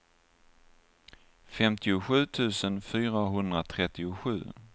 femtiosju tusen fyrahundratrettiosju